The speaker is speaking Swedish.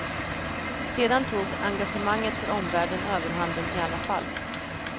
Sedan tog engagemanget för omvärlden överhanden i alla fall.